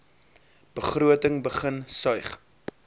begroting begin suig